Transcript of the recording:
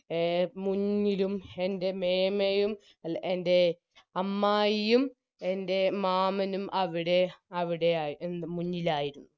A മുന്നിലും എൻറെ മേമയും അല്ല എൻറെ അമ്മായിയും എൻറെ മാമനും അവിടെ അവിടെയായി എ മുന്നിലായിരുന്നു